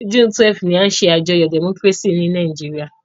June 12 ni a n se àyájó democracy ni Naijiria